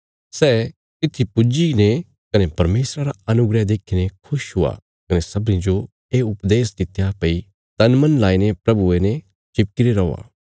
सै तित्थी पुज्जी ने कने परमेशरा रा अनुग्रह देखीने खुश हुआ कने सबनीं जो ये उपदेश दित्या भई तनमन लाईने प्रभुये ने चिपकी रे रौआ